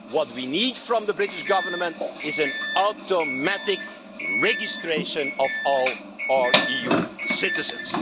What we need from the British Government is automatic registration of all our EU citizens.